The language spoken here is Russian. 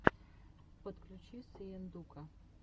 подключи сыендука